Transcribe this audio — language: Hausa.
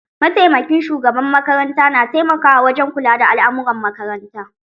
Mataimakin shugaban makaranta na taimakawa wajen kula da al'amuran makaranta